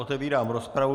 Otevírám rozpravu.